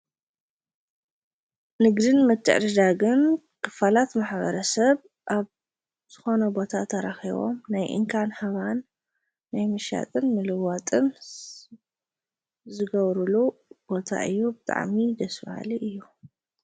ንግድን ምትዕድዳግን ክፋላት ማሕበረሰብ ኣብ ዝኮነ ቦታ ተራኪቦም ናይ እንካን ሃባን ናይ ምሻጥን ምልዋጥን ዝገብርሉ ቦታ እዩ፡፡ ብጣዕሚ ደስ ባሃሊ እዩ፡፡